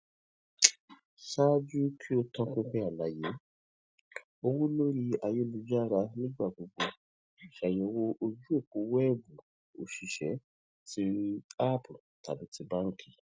ṣaaju ki o to pin pin alaye owo lori ayelujara nigbagbogbo ṣayẹwo oju opo wẹẹbu osise ti app tabi ti banki